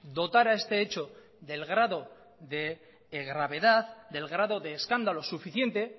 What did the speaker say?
dotar a este hecho del grado de gravedad del grado de escándalo suficiente